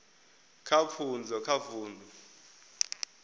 kha pfunzo kha vundu